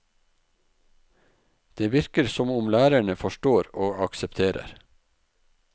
Det virker som om lærerne forstår og aksepterer.